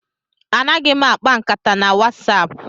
Anaghị m akpa nkata na WhatsApp.